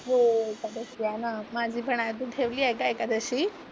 हो एकादशी आहे ना, माझी पण आहे. तू ठेवली आहे का एकादशी?